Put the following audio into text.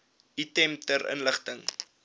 item ter inligting